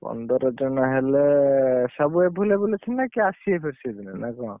ପନ୍ଦର ଜଣ ହେଲେ ସବୁ available ଅଛନ୍ତି ନା କିଏ ଆସିବେ ଫେରେ ସେଇଦିନ ନା କଣ?